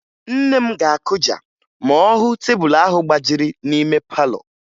Nne m ga-akụja ma ọ hụ tebulu ahụ gbajiri n'ime palọ